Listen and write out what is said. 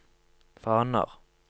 faner